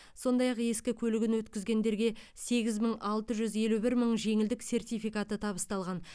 сондай ақ ескі көлігін өткізгендерге сегіз мың алты жүз елу бір жеңілдік сертификаты табысталған